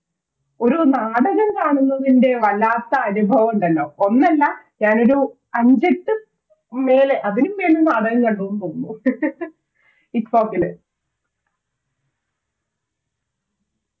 ഒരു നാടകം കാണുന്നതിൻറെ വല്ലാത്ത അനുഭവം ഉണ്ടല്ലോ ഒന്നല്ല ഞാനൊരു അഞ്ചെട്ട് മേലെ അതിനുമേലെ നാടകം കണ്ടുന്ന് തോന്നുന്നു ITFOK ല്